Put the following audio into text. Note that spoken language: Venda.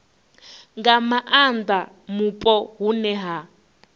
nga maanda mupo hune ha